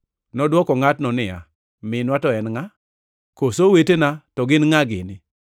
Nodwoko ngʼatno niya, “Minwa to en ngʼa, koso owetena to gin ngʼa gini?”